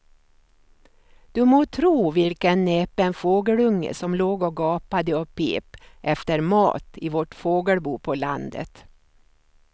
Du må tro vilken näpen fågelunge som låg och gapade och pep efter mat i vårt fågelbo på landet.